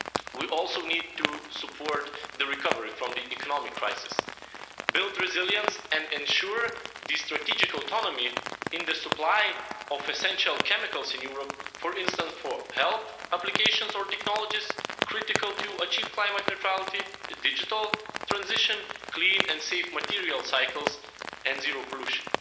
We also need to support the recovery from the economic crisis, build resilience and ensure strategic autonomy in the supply of essential chemicals in Europe, for instance for health applications or technologies critical to achieve climate neutrality, digital transition, clean and safe material cycles and zero pollution.